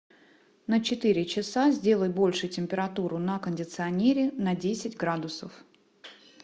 на четыре часа сделай больше температуру на кондиционере на десять градусов